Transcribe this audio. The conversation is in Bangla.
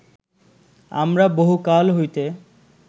আমরা বহু কাল হইতে